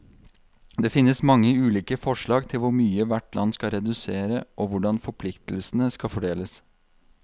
Det finnes mange ulike forslag til hvor mye hvert land skal redusere, og hvordan forpliktelsene skal fordeles.